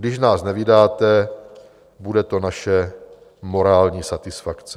Když nás nevydáte, bude to naše morální satisfakce.